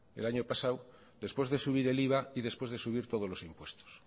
el año pasado después de subir el iva y después de subir todos los impuestos